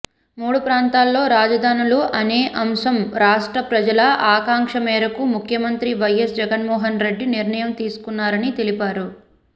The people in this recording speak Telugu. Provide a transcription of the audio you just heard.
మూడు ప్రాంతాల్లో రాజధానులు అనే అంశం రాష్ట్ర ప్రజల ఆకాంక్ష మేరకు ముఖ్యమంత్రి వైఎస్ జగన్మోహన్రెడ్డి నిర్ణయం తీసుకున్నారని తెలిపారు